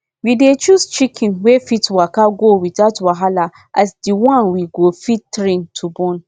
we dey choose chicken wey fit waka go without wahala as di one we go fit train to born